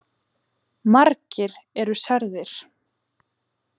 Margir eru særðir